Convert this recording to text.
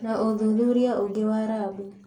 Na ũthuthuria ũngĩ wa rabu